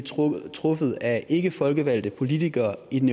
truffet af ikkefolkevalgte ikkepolitikere i den